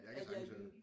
At jeg er jyde